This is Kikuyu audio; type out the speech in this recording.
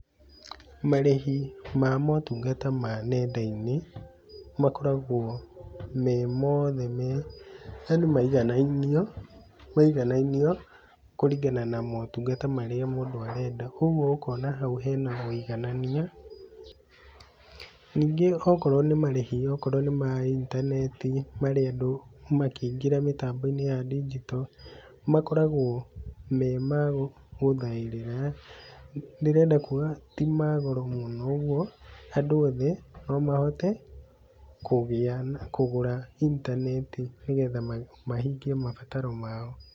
Marĩhi ma motũngata ma nenda-inĩ ,makoragwo me mothe me yani maiganainio maiganainio ,kũringana na motũngata marĩa mũndũ arenda, kogũo ũkona hau hena mũiganania. Ningĩ okorwo nĩ marĩhi okorwo nĩ ma intaneti marendwo makĩingĩra mitambo-inĩ ya ndinjito makoragwo me mao guthaĩrĩra ndĩrenda kuga ti magoro mũno ũgũo andũ othe no mahote ,kũgĩa na kũgũra intaneti nĩgetha mahingie mabataro mao.